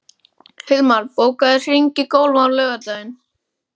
Hilmar, bókaðu hring í golf á laugardaginn.